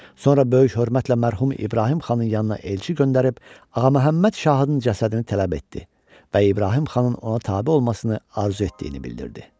Sonra böyük hörmətlə mərhum İbrahim xanın yanına elçi göndərib Ağa Məhəmməd şahın cəsədini tələb etdi və İbrahim xanın ona tabe olmasını arzu etdiyini bildirdi.